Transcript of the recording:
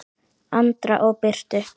Andra og Birtu.